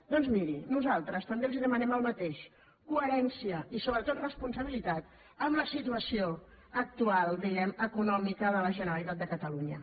doncs miri nosaltres també els demanem el mateix cohe·rència i sobretot responsabilitat en la situació actual diguem·ne econòmica de la generalitat de catalunya